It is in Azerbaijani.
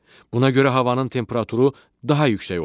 Buna görə havanın temperaturu daha yüksək olur.